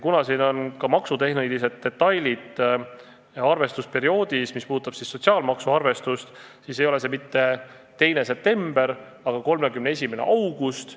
Kuna siin on ka maksutehnilised detailid arvestusperioodis, mis puudutavad sotsiaalmaksu arvestust, siis ei ole see mitte 2. september, vaid 31. august.